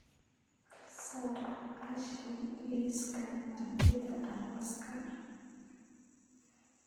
ka saar ashley liiska martida arooska